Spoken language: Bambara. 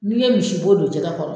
Ni ye misi bo don jɛgɛ kɔrɔ